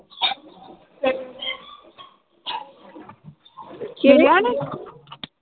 l